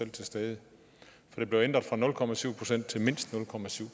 til stede det blev ændret fra nul procent til mindst nul